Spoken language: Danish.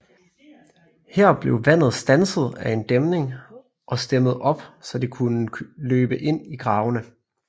Her blev vandet standset af en dæmning og stemmet op så det kunne løbe ind i gravene